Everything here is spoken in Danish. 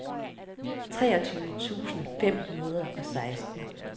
treogtyve tusind fem hundrede og seksten